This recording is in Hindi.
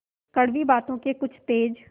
कड़वी बातों के कुछ तेज